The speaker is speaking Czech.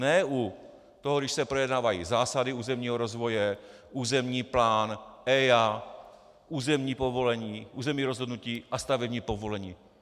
Ne u toho, když se projednávají zásady územního rozvoje, územní plán, EIA, územní povolení, územní rozhodnutí a stavební povolení.